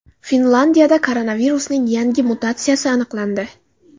Finlyandiyada koronavirusning yangi mutatsiyasi aniqlandi.